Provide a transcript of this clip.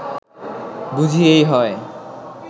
বুঝি এই হয়